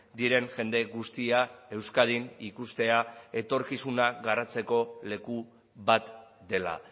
diren jende guztia euskadin ikustea etorkizuna garatzeko leku bat dela